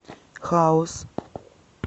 хаус